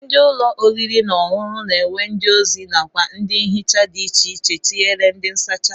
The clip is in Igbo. Ndị ụlọ oriri na ọṅụṅụ na-enwe ndị ozi nakwa ndị nhicha dị icheiche tinyere ndị nsacha